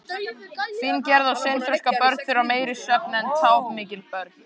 Fíngerð og seinþroska börn þurfa meiri svefn en tápmikil börn.